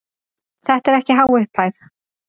Þetta er ekki há upphæð.